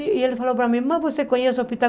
E ele falou para mim, mas você conhece o hospital?